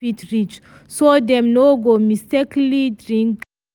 she keep all cleaning things where pikin hand no fit reach so dem no go mistakenly drink am.